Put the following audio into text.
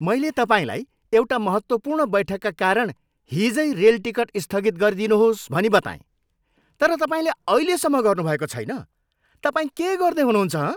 मैले तपाईँलाई एउटा महत्त्वपूर्ण बैठकका कारण हिजै रेल टिकट स्थगित गरिदिनुहोस् भनी बताएँ तर तपाईँले अहिलेसम्म गर्नुभएको छैन, तपाईँ के गर्दै हुनुहुन्छ हँ?